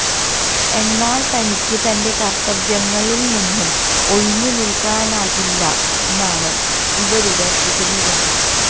എന്നാല് തനിയ്ക്ക് തന്റെ കര്ത്തവ്യങ്ങളില് നിന്ന് ഒഴിഞ്ഞ് നില്ക്കാനാകില്ലെന്നാണ് ഇവരുടെ വിശദീകരണം